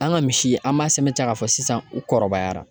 An ka misi an b'a sɛmɛntiya k'a fɔ sisan u kɔrɔbayara